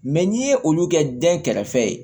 Mɛ n'i ye olu kɛ dɛn kɛrɛfɛ